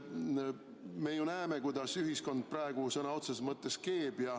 Me ju näeme, kuidas ühiskond praegu sõna otseses mõttes keeb.